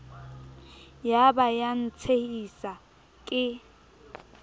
ya ba ya ntshehisa ke